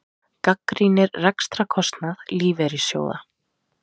Gagnrýnir rekstrarkostnað lífeyrissjóða